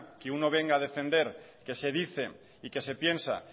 que uno venga a defender que se dice y que se piensa